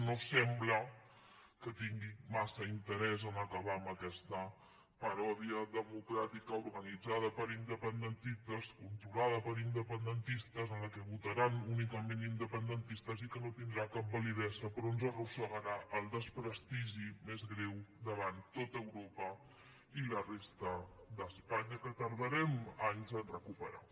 no sembla que tingui massa interès a acabar amb aquesta paròdia democràtica organitzada per independentistes controlada per independentistes en què votaran únicament independentistes i que no tindrà cap validesa però ens arrossegarà al desprestigi més greu davant tot europa i la resta d’espanya que tardarem anys a recuperar